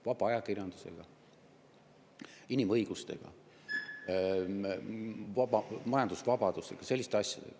–, vaba ajakirjandusega, inimõigustega, majandusvabaduse ja muude selliste asjadega.